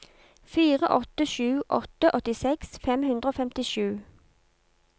fire åtte sju åtte åttiseks fem hundre og femtisju